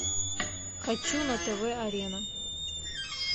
хочу на тв арена